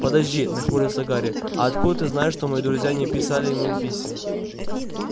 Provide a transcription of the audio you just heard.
подожди нахмурился гарри а откуда ты знаешь что мои друзья не писали ему писем